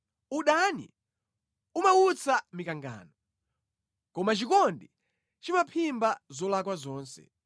Udani umawutsa mikangano, koma chikondi chimaphimba zolakwa zonse.